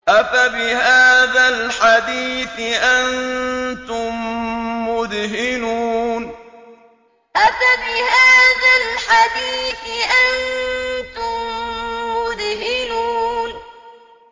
أَفَبِهَٰذَا الْحَدِيثِ أَنتُم مُّدْهِنُونَ أَفَبِهَٰذَا الْحَدِيثِ أَنتُم مُّدْهِنُونَ